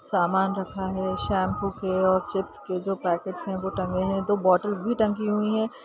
सामान रखा हुआ है शैंपू के और चिप्स के जो पैकेट है वो टांगे हुए हैं दो बॉटल भी टंगी हुई है।